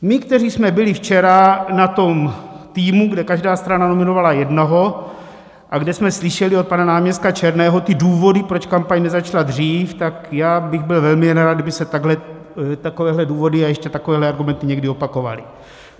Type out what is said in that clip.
My, kteří jsme byli včera na tom týmu, kde každá strana nominovala jednoho a kde jsme slyšeli od pana náměstka Černého ty důvody, proč kampaň nezačala dřív, tak já bych byl velmi nerad, kdyby se takovéhle důvody a ještě takovéhle argumenty někdy opakovaly.